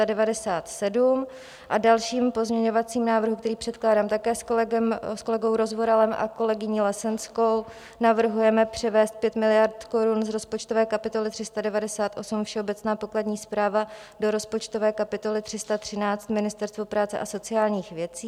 V dalším pozměňovacím návrhu, který předkládám také s kolegou Rozvoralem a kolegyní Lesenskou, navrhujeme převést 5 miliard korun z rozpočtové kapitoly 398 Všeobecná pokladní správa do rozpočtové kapitoly 313 Ministerstvo práce a sociálních věcí.